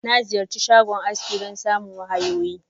Na Ziyarchi shagon aski don samun wahayoyi.